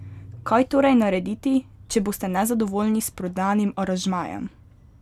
Kaj torej narediti, če boste nezadovoljni s prodanim aranžmajem?